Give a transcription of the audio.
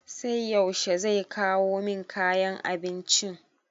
Sai yaushe zai kawo min kayan abincin?